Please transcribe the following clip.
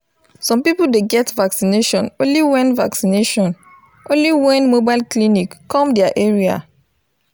some people dey get vaccination only wen vaccination only wen mobile clinic come their area